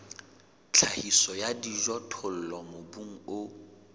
tlhahiso ya dijothollo mobung o